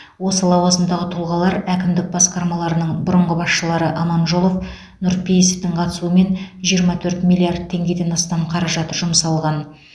осы лауазымдағы тұлғалар әкімдік басқармаларының бұрынғы басшылары аманжолов нұрпейісовтің қатысуымен жиырма төрт миллиард теңгеден астам қаражат жұмсалған